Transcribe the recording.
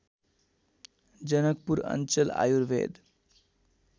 जनकपुर अञ्चल आयुर्वेद